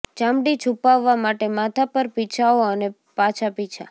ચામડી છૂપાવવા માટે માથા પર પીછાઓ અને પાછા પીંછા